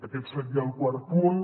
aquest seria el quart punt